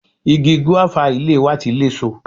Igi gúéfà ilé wa ti léso.